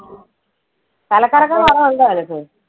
തല കറക്കം കുറവുണ്ടോ നിനക്ക്?